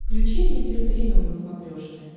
включи мне мир премиум на смотрешке